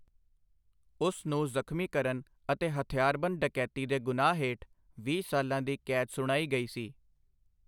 ਉਸ ਨੂੰ ਜ਼ਖ਼ਮੀ ਕਰਨ ਅਤੇ ਹਥਿਆਰਬੰਦ ਡਕੈਤੀ ਦੇ ਗੁਨਾਹ ਹੇਠ ਵੀਹ ਸਾਲਾ ਦੀ ਕੈਦ ਸੁਣਾਈ ਗਈ ਸੀ I